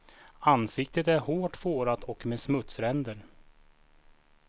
Ansiktet är hårt fårat och med smutsränder.